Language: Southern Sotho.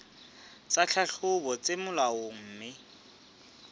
tsa tlhahlobo tse molaong mme